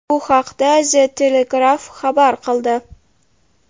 Bu haqda The Telegraph xabar qildi .